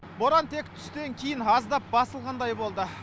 боран тек түстен кейін аздап басылғандай болды